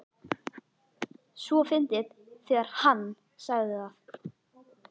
. svo fyndið þegar HANN sagði það!